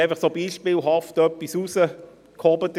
Das ist beispielhaft etwas herausgehoben.